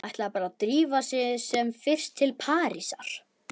Ætlaði bara að drífa sig sem fyrst til Parísar.